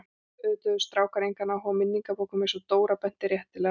Auðvitað höfðu strákar engan áhuga á minningabókum eins og Dóra benti réttilega á.